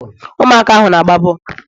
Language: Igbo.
ụmụaka ahụ na-agba bọọlụ